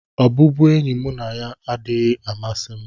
Ọbụbụenyi mụ na ya adịghị amasị m.